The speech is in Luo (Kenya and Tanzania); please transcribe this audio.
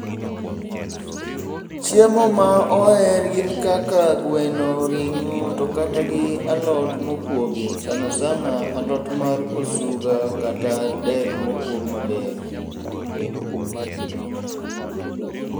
Chiemo ma oher gin kaka gweno, ring'o, to kata gi alot mokwogi sana sana alot mar osuga kata dek mokwog maber.